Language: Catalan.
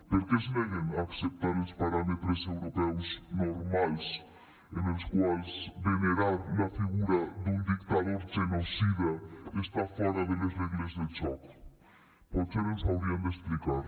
per què es neguen a acceptar els paràmetres europeus normals en els quals venerar la figura d’un dictador genocida està fora de les regles del joc potser ens ho haurien d’explicar